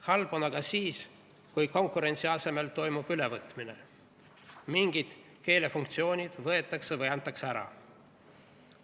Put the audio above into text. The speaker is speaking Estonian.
Halb on asi aga siis, kui konkurentsi asemel toimub ülevõtmine, mingid keelefunktsioonid võetakse või antakse ära.